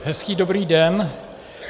Hezký dobrý den.